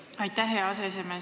Aitäh, hea aseesimees!